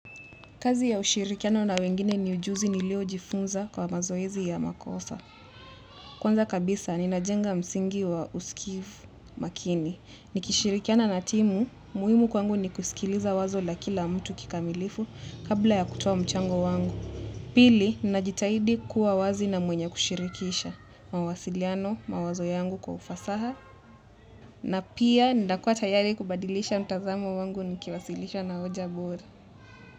Kazi ya ushirikiano na wengine ni ujuzi nilio jifunza kwa mazoezi ya makosa. Kwanza kabisa ninajenga msingi wa usikivu makini nikishirikiana na timu muhimu kwangu ni kusikiliza wazo la kila mtu kikamilifu kabla ya kutoa mchango wangu pili najitahidi kuwa wazi na mwenye kushirikisha mawasiliano, mawazo yangu kwa ufasaha. Na pia nakua tayari kubadilisha mtazamo wangu nikiwasilisha na hoja bora.